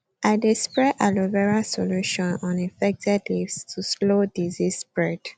i dey spray aloe vera solution on infected leaves to slow disease spread